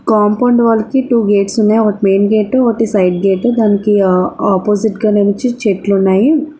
Compound wall కి two gates ఉన్నాయి. ఒకటి మెయిన్ గేట్ ఒకటి సైడ్ గేట్ . దానికి అప్పోజిట్ గా వచ్చి చెట్లు ఉన్నాయి.